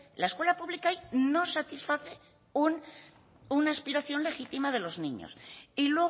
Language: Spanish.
la escuela pública ahí no satisface una aspiración legítima de los niños y